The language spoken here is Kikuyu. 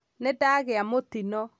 Nĩndagĩa mũtino